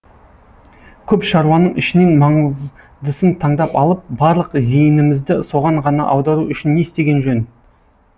көп шаруаның ішінен маңыздысын таңдап алып барлық зейінімізді соған ғана аудару үшін не істеген жөн